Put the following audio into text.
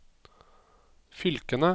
fylkene